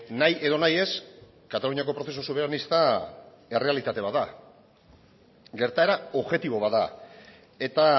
nahi edo nahi ez kataluniako prozesu soberanista errealitate bat da gertaera objektibo bat da eta